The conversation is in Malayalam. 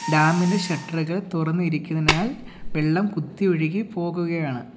ഡാം ഇന്റെ ഷട്ടറുകൾ തുറന്നിരിക്കുന്നതിനാൽ വെള്ളം കുത്തി ഒഴുകി പോവുകയാണ്.